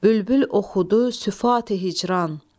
Bülbül oxudu süfati hicran,